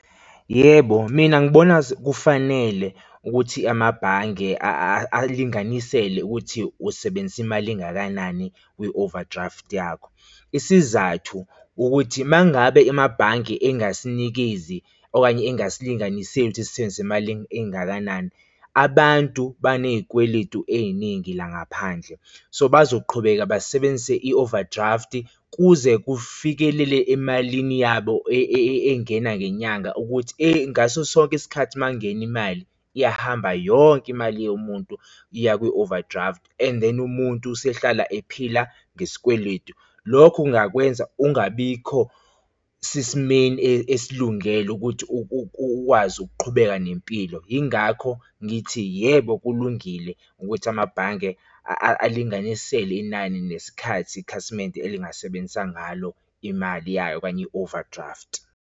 Yebo, mina ngibona kufanele ukuthi amabhange alinganisele ukuthi usebenzisa imali engakanani kwi-overdraft yakho, isizathu ukuthi mangabe amabhange engasinikezi okanye ingasilinganiseli ukuthi sisebenzise emalini engakanani. Abantu baney'kweletu ey'ningi la ngaphandle, so bazoqhubeka basebenzise i-overdraft kuze kufikelele emalini yabo engena ngenyanga ukuthi ngaso sonke isikhathi uma kungena imali iyahamba yonke imali yomuntu iya kwi-overdraft, and then umuntu usehlala ephila ngesikweletu. Lokho kungakwenza ungabikho sesimeni esilungele ukuthi ukwazi ukuqhubeka nempilo, yingakho ngithi yebo, kulungile ukuthi amabhange alinganisele inani nesikhathi, ikhasimende elingasebenza ngalo imali yayo okanye i-overdraft.